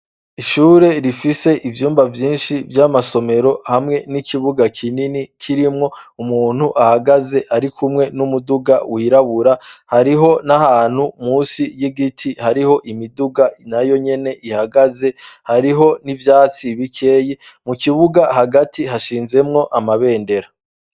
Ishure rifise ivyumba vyinshi vy'amasomero hamwe n'ikibuga kinini kirimwo umuntu ahagaze ari kumwe n'umuduga wirabura hariho n'ahantu musi y'igiti hariho imiduga na yo nyene ihagaze hariho n'ivyatsi bikeye mu kibuga hagati hashinzemwo amabe bendera.